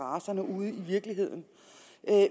racerne ude i virkeligheden